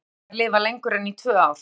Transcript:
Fæstir minkar lifa lengur en í tvö ár.